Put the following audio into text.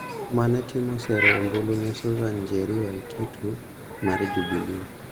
mane timo sero ombulu ne Susan Njeri Waititu mar Jubilee